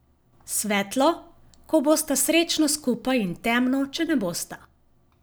Svetlo, ko bosta srečno skupaj in temno, če ne bosta.